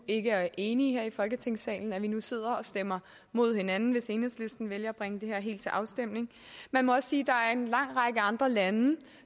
ikke er enige her i folketingssalen og at vi nu sidder og stemmer imod hinanden hvis enhedslisten vælger at bringe det her til afstemning man må også sige at en lang række andre lande